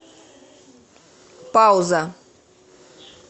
пауза